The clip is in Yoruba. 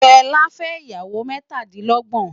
Fela fè iyàwó mètádilògbòn